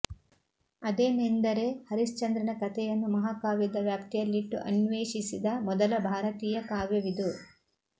ಅದೇನೆಂದರೆ ಹರಿಶ್ಚಂದ್ರನ ಕಥೆಯನ್ನು ಮಹಾಕಾವ್ಯದ ವ್ಯಾಪ್ತಿಯಲ್ಲಿಟ್ಟು ಅನ್ವೇಷಿಸಿದ ಮೊದಲ ಭಾರತೀಯ ಕಾವ್ಯವಿದು